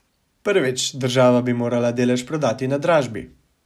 Prvič, država bi morala delež prodati na dražbi.